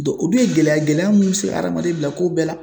o dun ye gɛlɛya ye, gɛlɛya min bɛ se ka adamaden bila ko bɛɛ la.